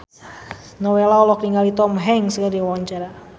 Nowela olohok ningali Tom Hanks keur diwawancara